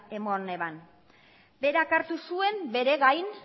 eman zuen berak hartu zuen bere gain